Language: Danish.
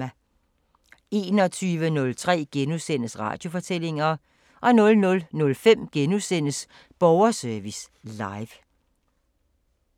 21:03: Radiofortællinger * 00:05: Borgerservice Live *